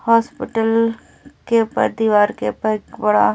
hospital के ऊपर दीवार के ऊपर एक बड़ा --